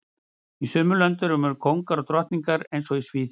Í sumum löndum eru kóngar og drottningar eins og í Svíþjóð